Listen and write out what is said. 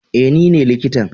eh nine likitan.